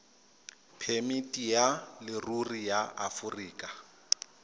phemiti ya leruri ya aforika